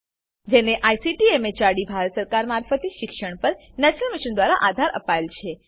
જેને ICT MHRD Bharat સરકાર મારફતે શિક્ષણ પર નેશનલ મિશન દ્વારા આધાર અપાયેલ છે